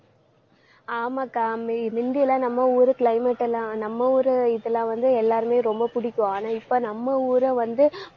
ஆமாக்கா மே~ மிந்தியெல்லாம் நம்ம ஊரு climate எல்லாம் நம்ம ஊரு இதுல வந்து எல்லாருமே ரொம்ப பிடிக்கும். ஆனா இப்ப நம்ம ஊரை வந்து,